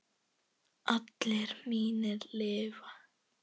Allir mínir lifa.